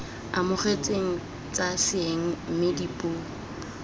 amogetsweng tsa seeng mme dipuo